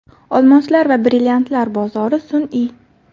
Olmoslar va brilliantlar bozori sun’iy.